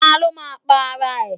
Ta ló máa pa ara ẹ̀.?